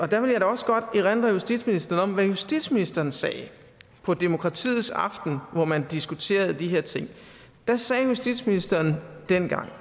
der vil jeg da også godt erindre justitsministeren om hvad justitsministeren sagde på demokratiets aften hvor man diskuterede de her ting da sagde justitsministeren dengang